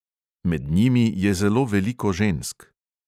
Med njimi je zelo veliko žensk.